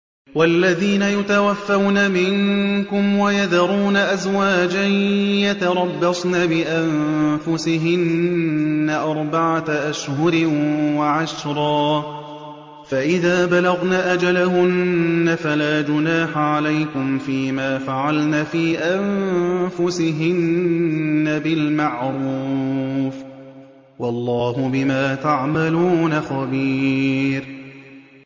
وَالَّذِينَ يُتَوَفَّوْنَ مِنكُمْ وَيَذَرُونَ أَزْوَاجًا يَتَرَبَّصْنَ بِأَنفُسِهِنَّ أَرْبَعَةَ أَشْهُرٍ وَعَشْرًا ۖ فَإِذَا بَلَغْنَ أَجَلَهُنَّ فَلَا جُنَاحَ عَلَيْكُمْ فِيمَا فَعَلْنَ فِي أَنفُسِهِنَّ بِالْمَعْرُوفِ ۗ وَاللَّهُ بِمَا تَعْمَلُونَ خَبِيرٌ